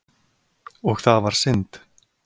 Og það var synd.